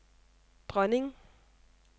dronning